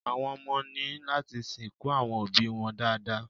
Àwọn ọmọ ní láti sìnkú àwọn òbíi wọn dáadáa.